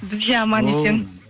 біз де аман есен